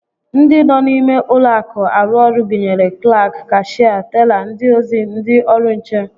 Ndị nọ n'ime ụlọakụ arụ ọrụ gụnyere klaak, kashịa, tela, ndị ozi, ndị ọrụ nche